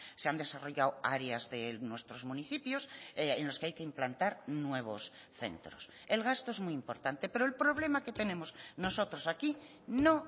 se han desarrollado áreas de nuestros municipios en los que hay que implantar nuevos centros el gasto es muy importante pero el problema que tenemos nosotros aquí no